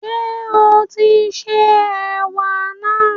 Ṣé o tín se ẹ̀wà náà?